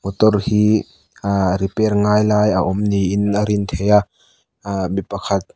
motor hi ah repair ngai lai a awm niin a din theih a ah mi pakhat--